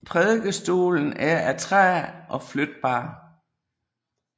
Prædikestolen er af træ og flytbar